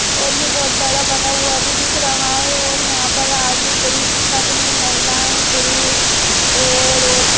और यह बहोत बड़ा बना हुआ भी दिख रहा है और यहां पर आदमी पुरुष सब हैं महिलाएं पुरुष और औरते--